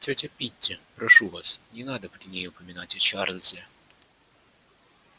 тётя питти прошу вас не надо при ней упоминать о чарлзе